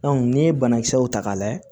n'i ye banakisɛw ta k'a lajɛ